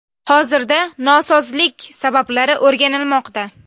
Hozirda nosozlik sabablari o‘rganilmoqda.